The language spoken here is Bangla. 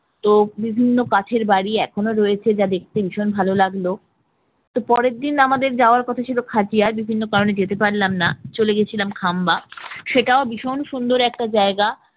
তো বিভিন্ন কাঠের বাড়ি এখনো রয়েছে, যা দেখতে ভীষণ ভালো লাগলো তো পরের দিন আমাদের যাওয়ার কথা ছিল খাদিয়া বিভিন্ন কারণে যেতে পারলাম না চলে গেছিলাম খাম্বা সেটাও ভীষণ সুন্দর একটা জায়গা